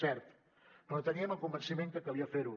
cert però teníem el convenciment que calia fer ho